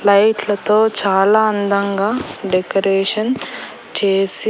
లైట్లతో చాలా అందంగా డెకరేషన్ చేసి--